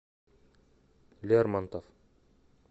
лермонтов